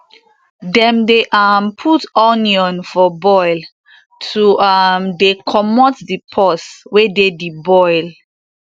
dem dey um put onion for boil to um dey comot di pus wey dey di boil